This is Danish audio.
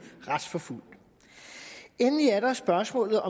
retsforfulgt endelig er der spørgsmålet